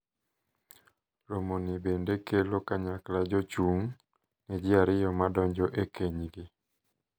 Romo ni bende kelo kanyakla jochung` ne ji ariyo ma donjo e kenygi.